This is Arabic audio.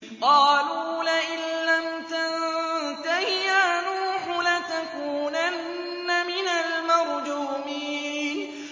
قَالُوا لَئِن لَّمْ تَنتَهِ يَا نُوحُ لَتَكُونَنَّ مِنَ الْمَرْجُومِينَ